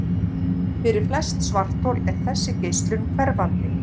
Fyrir flest svarthol er þessi geislun hverfandi.